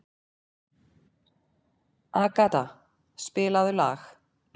Agata, spilaðu lag.